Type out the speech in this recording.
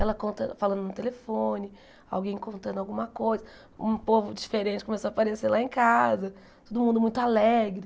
Ela conta falando no telefone, alguém contando alguma coisa, um povo diferente começou a aparecer lá em casa, todo mundo muito alegre.